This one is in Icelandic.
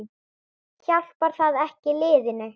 Hjálpar það ekki liðinu?